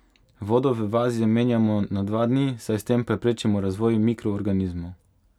Vodo v vazi menjamo na dva dni, saj s tem preprečimo razvoj mikroorganizmov.